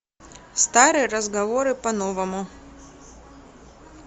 старые разговоры по новому